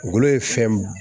Golo ye fɛn b